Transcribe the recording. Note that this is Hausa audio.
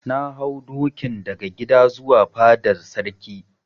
Na hau dokin daga gida zuwa fadar Sarki.